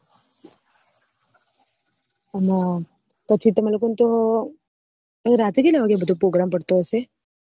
અને પછી તમે લોકો ને તો રાતે કેટલા વાગે બધો porgram પટતો હશે